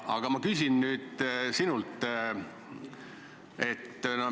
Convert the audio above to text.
Aga ma küsin nüüd sinult niisuguse küsimuse.